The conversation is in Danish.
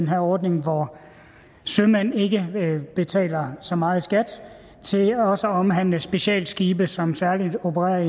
her ordning hvor sømænd ikke betaler så meget i skat til også at omhandle specialskibe som særligt opererer